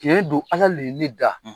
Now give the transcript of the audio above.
Tiyɛn do Ala de ye ne da.